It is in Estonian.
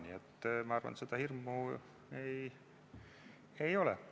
Nii et ma arvan, et seda hirmu ei ole.